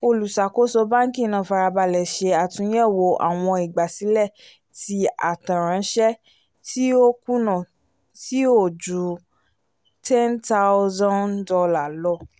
oluṣakoso bánkì náà farabalẹ ṣe àtúnyẹwò àwọn ìgbàsílẹ̀ ti atẹ ránṣẹ ti o kùnà ti o jù $ ten thousand lọ